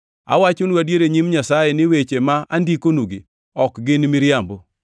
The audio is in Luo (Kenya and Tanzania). Awachonu Adier e nyim Nyasaye ni weche ma andikonugi ok gin miriambo.